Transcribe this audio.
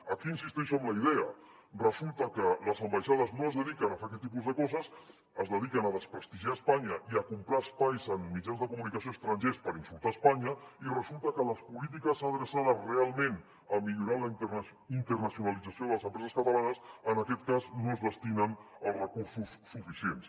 aquí insisteixo en la idea resulta que les ambaixades no es dediquen a fer aquest tipus de coses es dediquen a desprestigiar espanya i a comprar espais en mitjans de comunicació estrangers per insultar espanya i resulta que a les polítiques adreçades realment a millorar la internacionalització de les empreses catalanes en aquest cas no s’hi destinen els recursos suficients